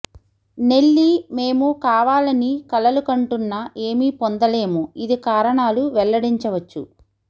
Nelly మేము కావాలని కలలుకంటున్న ఏమి పొందలేము ఇది కారణాలు వెల్లడించవచ్చు